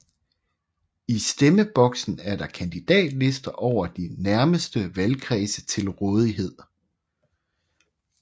I stemmeboksen er der kandidatlister over de nærmeste valgkredse til rådighed